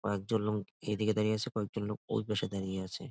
কয়েকজন লোক এদিকে দাড়িয়ে আছে কয়েকজন লোক ওই পাশে দাড়িয়ে আছে।